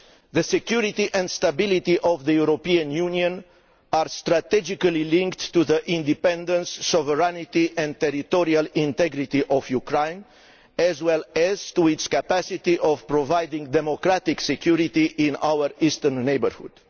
The security and stability of the European Union are strategically linked to the independence, sovereignty and territorial integrity of Ukraine, as well as to its capacity to provide democratic security in our Eastern Neighbourhood.